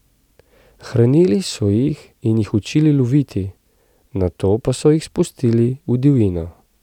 Hranili so jih in jih učili loviti, nato pa so jih spustili v divjino.